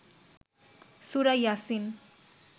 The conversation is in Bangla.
সুরা ইয়াছিন